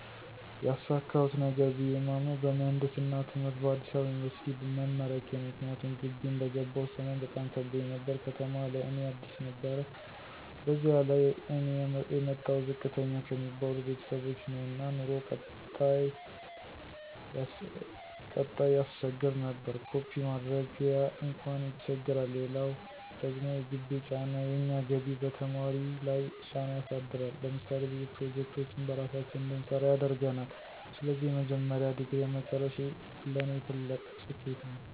ያሳካሁት ነገር ብየ የማምነው በምህንድስና ትምህርት ከአዲስ አበባ ዩኒበርሲቲ መመረቄ ነው። ምክንያቱም ግቢ እንደገባሁ ሰሞን በጣም ከብዶኝ ነበር፤ ከተማ ለእኔ አዲስ ነበር በዚያ ላይ እኔ የመጣሁት ዝቅተኛ ከሚባሉ ቤተሰቦች ነው እና ኑሮው ቀጣም ያሰቸግር ነበር። ኮፒ ማድረጊያ አንኳን ይቸግራል! ሌላው ደግሞ የግቢው ጫና፦ የእኛ ግቢ በተማሪ ለይ ጫና ያሳድራል። ለምሳሌ ብዙ ፕሮጀክቶችን በራሳችን እንድንሰራ ያደርገናል። ስለዚህ የመጀመሪያ ዲግሪየን መጨረሴ ለኔ ትልቅ ስኬት ነው።